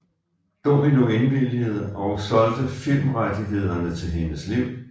Domino indvilligede og solgte filmrettighederne til hendes liv